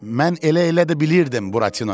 Mən elə-elə də bilirdim, Buratino dedi.